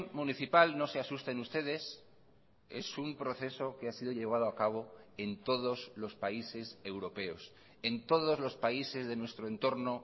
municipal no se asusten ustedes es un proceso que ha sido llevado a cabo en todos los países europeos en todos los países de nuestro entorno